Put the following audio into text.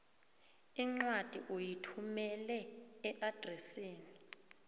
incwadi uyithumele eadresini